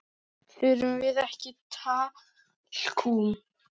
Þurfum við ekki talkúm?